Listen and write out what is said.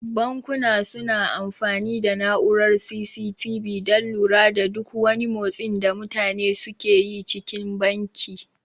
Bankuna su na amfani da na'urar C.C.T.V dan lura da duk wani motsin da mutane suke yi cikin banki